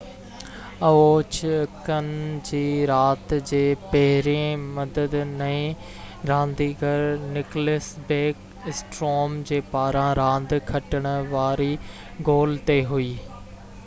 Ovechkin جي رات جي پهرين مدد نئين رانديگر نڪلس بيڪ اسٽروم جي پاران راند کٽڻ واري گول تي هئي